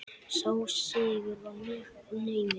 Sá sigur var mjög naumur.